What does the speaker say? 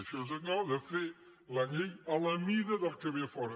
això és allò de fer la llei a la mida del qui ve de fora